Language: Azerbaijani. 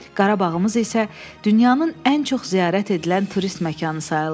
Qarabağımız isə dünyanın ən çox ziyarət edilən turist məkanı sayılır.